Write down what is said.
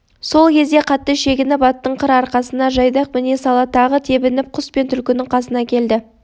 сол кезде қатты шегініп аттың қыр арқасына жайдақ міне сала тағы тебініп құс пен түлкінің қасына келді